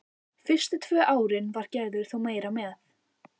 Fyrstu tvö árin var Gerður þó meira með.